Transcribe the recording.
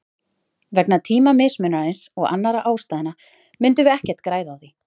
Vegna tímamismunarins og annarra ástæðna myndum við ekkert græða á því.